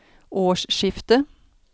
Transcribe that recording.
årsskiftet